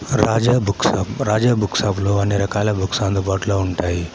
రాజా book shop. Raja book shop లో అన్ని రకాల బుక్స్ అందుబాటులో ఉంటాయి.